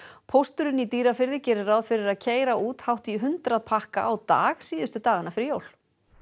pósturinn í Dýrafirði gerir ráð fyrir að keyra út hátt í hundrað pakka á dag síðustu dagana fyrir jól